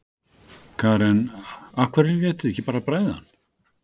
Karen: Af hverju létuð þið ekki bara bræða hann?